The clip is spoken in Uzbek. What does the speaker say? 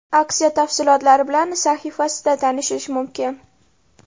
Aksiya tafsilotlari bilan sahifasida tanishish mumkin.